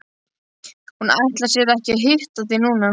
Hún ætlar sér ekki að hitta þig núna.